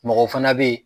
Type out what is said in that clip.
Mɔgɔ fana bɛ ye